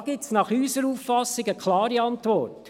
Da gibt es nach unserer Auffassung eine klare Antwort: